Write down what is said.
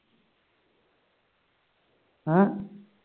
ਹਮ